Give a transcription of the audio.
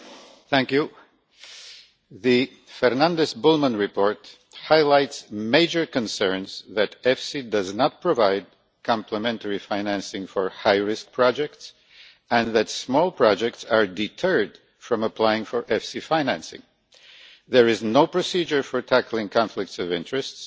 Madam President, the Fernandes Bullmann report highlights major concerns that EFSI does not provide complementary financing for high risk projects and that small projects are deterred from applying for EFSI financing. There is no procedure for tackling conflicts of interest,